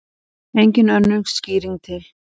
Engin önnur skýring til.